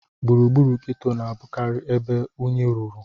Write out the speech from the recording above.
Gburugburu geto na-abụkarị ebe unyi ruru.